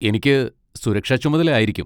എനിക്ക് സുരക്ഷാ ചുമതല ആയിരിക്കും.